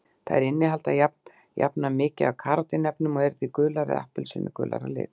Þær innihalda jafnan mikið af karótín-efnum og eru því gular eða appelsínugular að lit.